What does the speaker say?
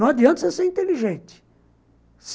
Não adianta você ser inteligente.